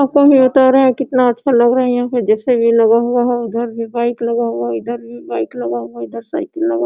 यहाँ कोई नेता आ रहा है कितना अच्छा लग रहा है यहां पे जैसे वे लगा हुआ हैं उधर भी बाइक लगा हुआ इधर भी बाइक लगा हुआ इधर साइकल लगा--